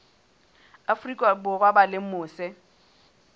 afrika borwa ba leng mose